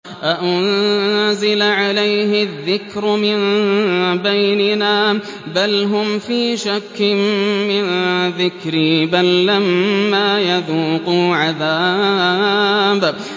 أَأُنزِلَ عَلَيْهِ الذِّكْرُ مِن بَيْنِنَا ۚ بَلْ هُمْ فِي شَكٍّ مِّن ذِكْرِي ۖ بَل لَّمَّا يَذُوقُوا عَذَابِ